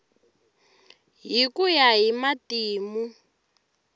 hi ku ya hi matimu